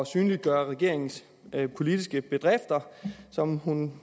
synliggøre regeringens politiske bedrifter som hun